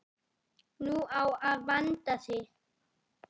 Nú á að vanda sig.